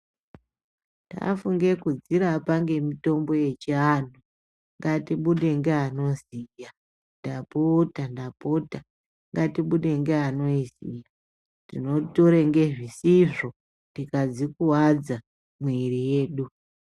Tafunge kudzirapa ngemitombo yechiantu, ngatibude ngeanoziya. Ndapota ndapota ngatibude ngeanoiziya. Tinotore ngezvisizvo tikadzikuvadza mwiiri yedu.